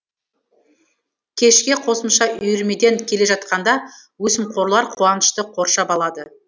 кешке қосымша үйірмеден келе жатқанда өсімқорлар қуанышты қоршап алады